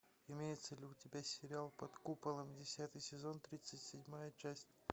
имеется ли у тебя сериал под куполом десятый сезон тридцать седьмая часть